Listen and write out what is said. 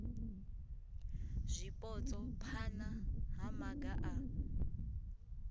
zwipotso phana ha maga a